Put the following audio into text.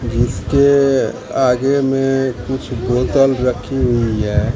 जिसके आगे में कुछ बोतल रखी हुई है।